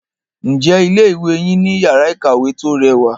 Ǹjẹ́ ilé ìwé yín ní iyàrá ìkàwé tí o rẹwà?